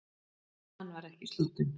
Hann var ekki sloppinn.